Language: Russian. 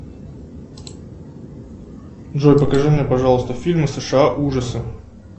джой покажи мне пожалуйста фильмы сша ужасы